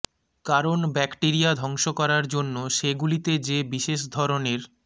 কারণ ব্যাক্টিরিয়া ধ্বংস করার জন্য সেগুলিতে যে বিশেষ ধরনের